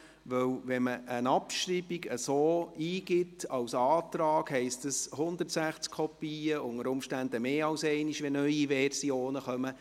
Wenn man eine Abschreibung als Antrag eingibt, heisst das 160 Kopien, unter Umständen mehr als einmal, wenn neue Versionen kommen.